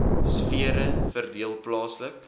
sfere verdeel plaaslik